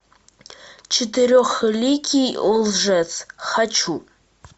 четырехликий лжец хочу